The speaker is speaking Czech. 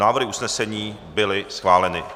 Návrhy usnesení byly schváleny.